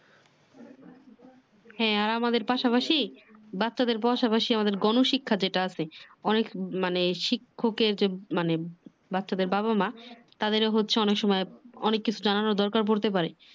হ্যাঁ আমাদের পাশাপাশি বাচ্ছাদের পাশাপাশি আমাদের গনশিক্ষা যেটা আছে অনেক মানে শিক্ষকের যে মানে বাচ্ছাদের বাবা মা তাদের হচ্ছে অনেক সময় অনেক কিছু জানানোর দরকার পড়তে পারে